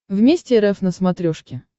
вместе рф на смотрешке